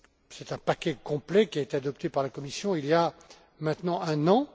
C'est un paquet complet qui a été adopté par la Commission il y a maintenant un an.